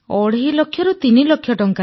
ଅଢ଼େଇ ଲକ୍ଷ ତିନି ଲକ୍ଷ ଟଙ୍କା